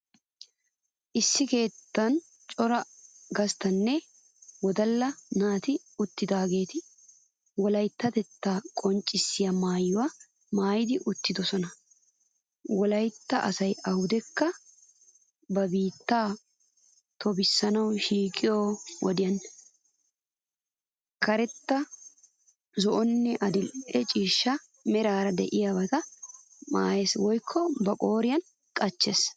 Issi keettan cora gasttanne wodalla naati uttidaageetu wolayttatettaa qonccissiya. maayuwaa maayidi uttidosona. Wolaytta asay awudekka ba biittaabaa tobettanawu shiiqiyo wodiyan karetta, zo'onne adil'e cishcha meraara de'iyaabata maayes woykko ba qooriyan qachches.